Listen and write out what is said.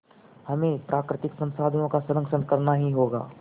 हमें प्राकृतिक संसाधनों का संरक्षण करना ही होगा